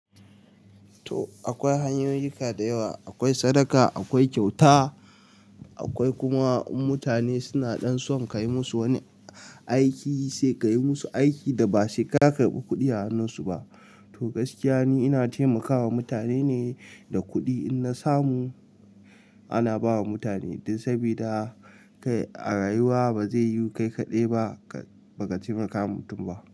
To, akwai hanyoyika dayawa, akwai sadaka, akwai kyauta, akwai kuma in mutane suna ɗan son ka yi musu wani aiki sai ka yi musu aiki da ba sai ka karɓi kuɗi a hannun su ba. To gaskiya ni ina taimakawa mutane ne da kuɗi in na samu ana ba wa mutane, dan sabida a rayuwa ba zai yu kai kaɗai ba baka taimakawa mutum ba.